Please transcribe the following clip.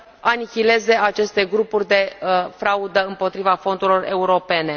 anihileze aceste grupuri de fraudă împotriva fondurilor europene.